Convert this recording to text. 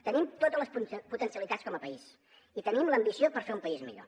tenim totes les potencialitats com a país i tenim l’ambició per fer un país millor